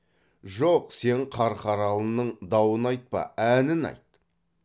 жоқ сен қарқаралының дауын айтпа әнін айт